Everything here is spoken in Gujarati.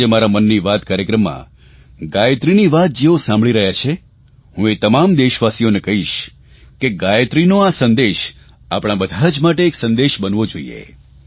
આજે મારા મન કી બાત કાર્યક્રમમાં ગાયત્રીની વાત જેઓ સાંભળી રહ્યાં છે હું એ તમામ દેશવાસીઓને કહીશ કે ગાયત્રીનો આ સંદેશ આપણા બધા જ માટે એક સંદેશ બનવો જોઇએ